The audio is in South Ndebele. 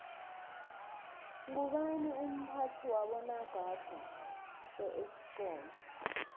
ngubani umphathi wabonagada beesikomu